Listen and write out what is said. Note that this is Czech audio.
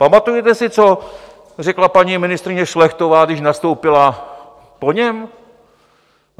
Pamatujete si, co řekla paní ministryně Šlechtová, když nastoupila po něm?